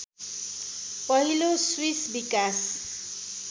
पहिलो स्विस विकास